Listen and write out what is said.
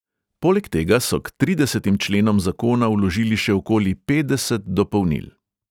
Poleg tega so k tridesetim členom zakona vložili še okoli petdeset dopolnil.